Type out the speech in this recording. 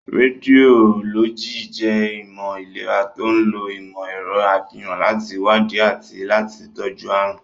Rédiólọ́jì jẹ́ ìmọ̀ ìlera to ń lo ìmọ̀ ẹ̀rọ àfihàn láti wádìí àti láti tọ́jú àrùn.